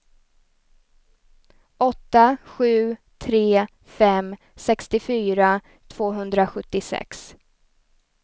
åtta sju tre fem sextiofyra tvåhundrasjuttiosex